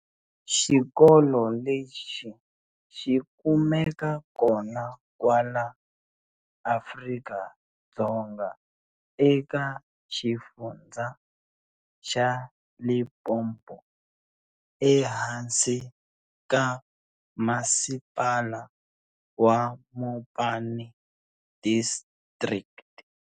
Xikolo lexi xi kumeka kona kwala Afrika-Dzonga eka Xifundza xa Limpompo, ehansi ka masipala wa Mopani District.